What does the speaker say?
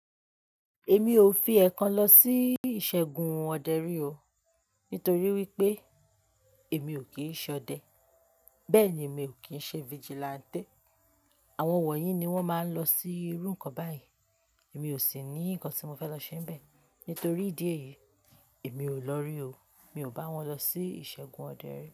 Èmi ò fi ẹ kan lọ sí ìṣẹ́gun ọdẹ rí o, nítorí wí pé èmi ò kí ń ṣọdẹ. Bẹ́ẹ̀ ni, mi ò kí ń ṣe vigilante. Àwọn wọ̀nyí ni wọ́n máa ń lọ sí irú nǹkan báyìí. Èmi ò sì ní nǹkan tí mo fẹ́ lọ ṣe níbẹ̀. Nítorí ìdí èyí, èmi ò lọ rí o. Mi ò bá wọn lọ sí ìṣẹ́gun ọdẹ rí.